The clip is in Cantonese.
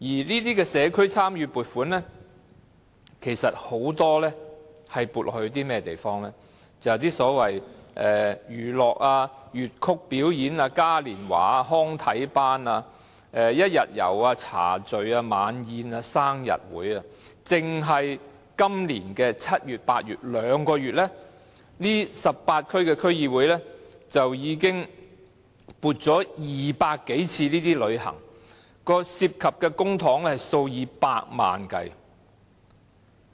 這些社區參與計劃的撥款其實很多時候是發放給一些所謂娛樂活動、粵曲表演、嘉年華、康體班、一天遊、茶敍、晚宴、生日會等，單在今年7月和8月這兩個月 ，18 區區議會已經為200多次旅行活動提供撥款，涉及公帑數以百萬元計。